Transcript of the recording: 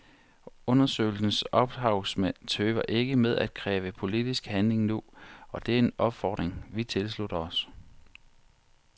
Undersøgelsens ophavsmænd tøver ikke med at kræve politisk handling nu, og det er en opfordring vi tilslutter os.